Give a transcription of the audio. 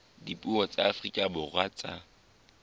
dipuo tsa afrika borwa tsa